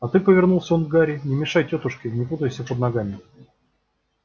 а ты повернулся он к гарри не мешай тётушке не путайся под ногами